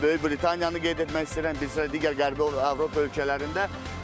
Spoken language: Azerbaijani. Böyük Britaniyanı qeyd etmək istəyirəm, bizdə digər Qərbi Avropa ölkələrində.